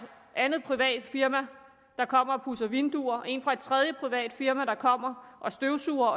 andet privat firma der kommer og pudser vinduer og en fra et tredje privat firma der kommer og støvsuger